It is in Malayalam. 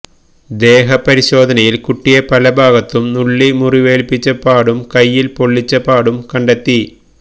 ദേഹ പരിശോധനയിൽ കുട്ടിയെ പലഭാഗത്തും നുള്ളി മുറുവേൽപ്പിച്ച പാടും കൈയിൽ പൊള്ളിച്ച പാടും കണ്ടെത്തി